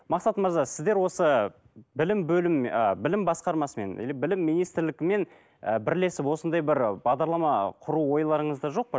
мақсат мырза сіздер осы білім ыыы білім басқармасымен или білім министрлігімен ы бірлесіп осындай бір бағдарлама құру ойларыңызда жоқ па